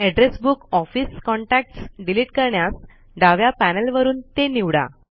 address book office contacts delete करण्यास डाव्या panel वरून ते निवडा